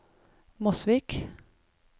Mosvik